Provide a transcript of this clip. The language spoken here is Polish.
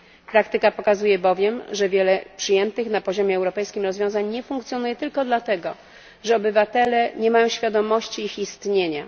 Praktyka pokazuje bowiem, że wiele przyjętych na poziomie europejskim rozwiązań nie funkcjonuje tylko dlatego, że obywatele nie mają świadomości ich istnienia.